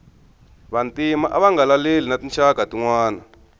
vantima ava nga laleli na tinxaka tinwana